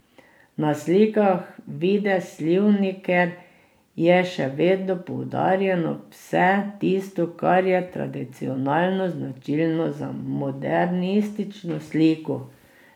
Na slikah Vide Slivniker je še vedno poudarjeno vse tisto, kar je tradicionalno značilno za modernistično sliko.